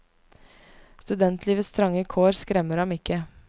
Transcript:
Studentlivets trange kår skremmer ham ikke.